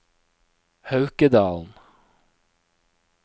Haukedalen